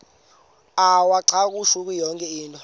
uwacakushele yonke into